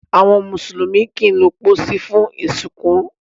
Àwọn mùsùlùmí kìí lo posí fún ìsìnkú